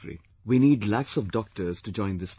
We need lakhs of doctors to join this campaign